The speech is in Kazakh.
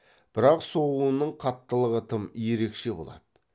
бірақ соғуының қаттылығы тым ерекше болады